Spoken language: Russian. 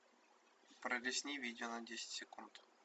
пролистни видео на десять секунд